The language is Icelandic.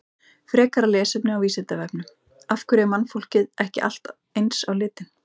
Frekara lesefni á Vísindavefnum: Af hverju er mannfólkið ekki allt eins á litinn?